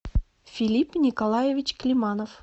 филипп николаевич климанов